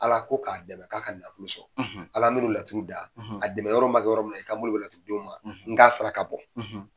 Ala ko k'a dɛmɛ k'a ka nafolo sɔrɔ, Ala n bɛ nin laturu da a dɛmɛ yɔrɔ ma kɛ yɔrɔ min i ka bolo laturudenw ma n ka saraka bɔ.